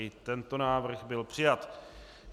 I tento návrh byl přijat.